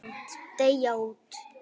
Deyja út.